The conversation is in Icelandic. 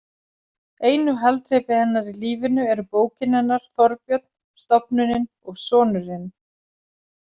Einu haldreipi hennar í lífinu eru bókin hennar, Þorbjörn, stofnunin og sonurinn.